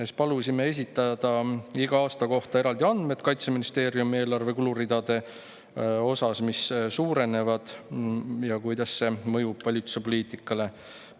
Siis palusime esitada iga aasta puhul eraldi andmed Kaitseministeeriumi eelarve kuluridade kohta, mis suurenevad, ja kuidas see mõjub valitsuse poliitikale.